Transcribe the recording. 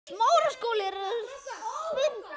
Sjá einnig: Hvaða lið falla?